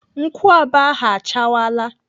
Nkwụaba ahụ achawala.